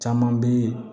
Caman bɛ